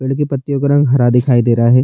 पेड़ के पत्तियों का रंग हरा दिखाई दे रहा है।